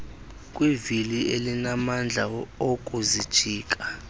kwivili elinamandla okuzijika